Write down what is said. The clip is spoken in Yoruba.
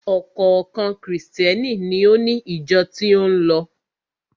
Ọ̀kọ̀ọ̀kan Krìstẹ́ni ni ó ni ìjọ tí ó ń lọ.